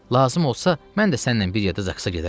Lazım olsa mən də sənnən bir yerdə zaqsa gedərəm.